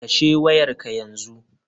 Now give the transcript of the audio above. Kashe wayar ka yanzu.